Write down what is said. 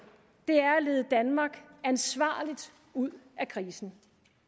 er at lede danmark ansvarligt ud af krisen